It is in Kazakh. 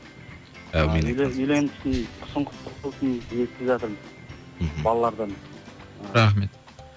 әумин айтқаныңыз келсін үйленіпсің құсың құтты болсын естіп жатырмын мхм балалардан рахмет